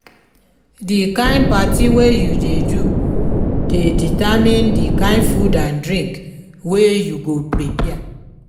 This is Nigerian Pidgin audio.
the kind parti wey you de do de determine di kind food and drink wey you go prepare